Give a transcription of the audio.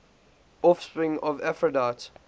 offspring of aphrodite